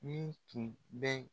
Min tun bɛ